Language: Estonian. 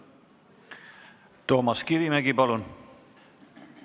Toomas Kivimägi, palun!